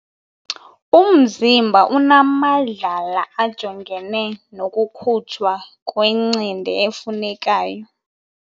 Umzimba unamadlala ajongene nokukhutshwa kwencindi efunekayo.